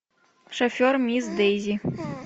шофер мисс дэйзи